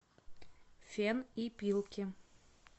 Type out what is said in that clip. фен и пилки